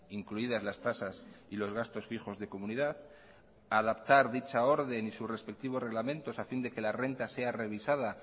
incluidas las tasas y los gastos fijos de comunidad adaptar dicha orden y sus respectivos reglamentos a fin de que la renta sea revisada